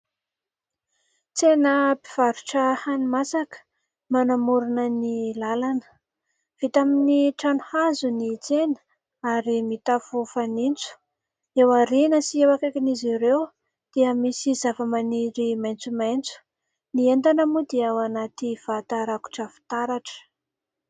Tsena mpivarotra hani-masaka manamorona ny lalana. Vita amin'ny trano hazo ny tsena ary mitafo fanitso. Eo aoriana sy eo akaikin'izy ireo dia misy zavamaniry maitsomaitso. Ny entana moa dia ao anaty vata rakotra fitaratra.